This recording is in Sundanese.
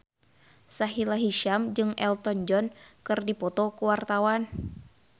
Sahila Hisyam jeung Elton John keur dipoto ku wartawan